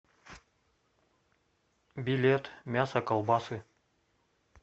билет мясо колбасы